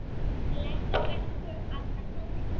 Blessi ykkur allir góðir englar.